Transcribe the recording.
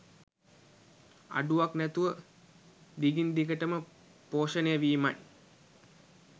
අඩුවක් නැතුව දිගින් දිගටම පෝෂණය වීමයි